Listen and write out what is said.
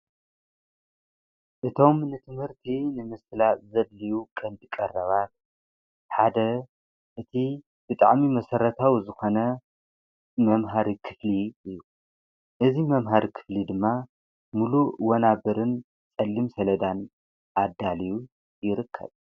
እቶም ንትምህርቲ ንምስላ ዘድልዩ ቐንዲ ቀረባር ሓደ እቲ ብጣዕሚ መሠረታዊ ዝኾነ መምሃሪ ክፍሊ እዩ እዙ መምሃሪ ክትሊ ድማ ምሉ እወናብርን ጸልም ሰለዳን ኣዳልዩ ይርከብ።